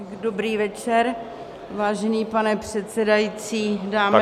Dobrý večer, vážený pane předsedající, dámy a pánové -